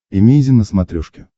эмейзин на смотрешке